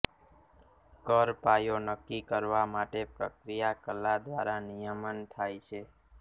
કર પાયો નક્કી કરવા માટે પ્રક્રિયા કલા દ્વારા નિયમન થાય છે